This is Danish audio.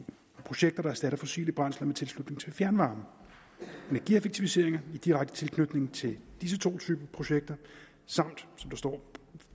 projekter der erstatter fossile brændsler med tilslutning til fjernvarme energieffektiviseringer i direkte tilknytning til disse to typer projekter samt som der står